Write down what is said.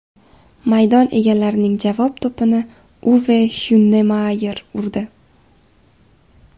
Maydon egalarining javob to‘pini Uve Hyunemayer urdi.